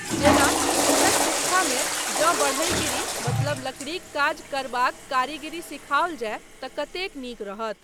जेना इस्कूलक शिक्षामे जँ बढ़ईगिरी मतलब लकड़ीक काज करबाक कारीगारी सिखाओल जाय तँ कतेक नीक रहत।